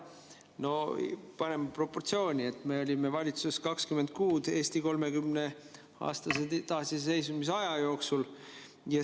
No paneme proportsiooni: me olime valitsuses 20 kuud Eesti 30-aastase taasiseseisvuse jooksul.